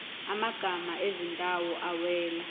amagama ezindawo awela